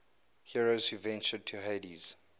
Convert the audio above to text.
heroes who ventured to hades